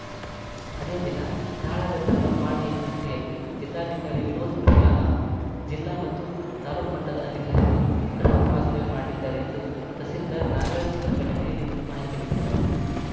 ಅದೇ ದಿನ ಕಾಳಘಟ್ಟಲಂಬಾಣಿಹಟ್ಟಿಯಲ್ಲಿ ಜಿಲ್ಲಾಧಿಕಾರಿ ವಿನೋತ್‌ ಪ್ರಿಯಾ ಹಾಗೂ ಜಿಲ್ಲಾ ಮತ್ತು ತಾಲೂಕು ಮಟ್ಟದ ಅಧಿಕಾರಿಗಳು ಗ್ರಾಮ ವಾಸ್ತವ್ಯಮಾಡಲಿದ್ದಾರೆ ಎಂದು ತಹಸೀಲ್ದಾರ್‌ ನಾಗರಾಜ್‌ ಪ್ರಕಟಣೆಯಲ್ಲಿ ಮಾಹಿತಿ ನೀಡಿದ್ದಾರೆ